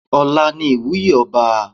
Ọ̀la ni ìwúyè ọba.